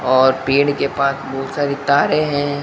और पेड़ के पास बहुत सारी तारें हैं।